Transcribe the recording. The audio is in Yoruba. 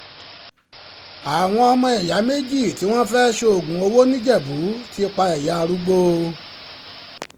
àwọn ọmọ ìyá méjì tí wọ́n fẹ́ẹ́ ṣoògùn owó nìjẹ̀bù ti pa ìyá arúgbó o arúgbó o